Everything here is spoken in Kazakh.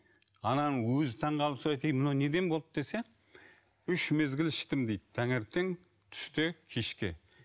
ананың өзі таңғалып сұрайды ей мынау неден болды десе үш мезгіл іштім дейді таңертең түсте кешке